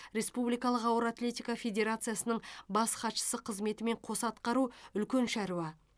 республикалық ауыр атлетика федерациясының бас хатшысы қызметімен қоса атқару үлкен шаруа